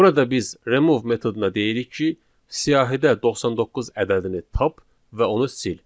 Burada biz remove metoduna deyirik ki, siyahıda 99 ədədini tap və onu sil.